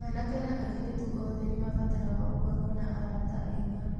Anake na airĩtu othe nĩ mabataraga gũkorũo na arata ega.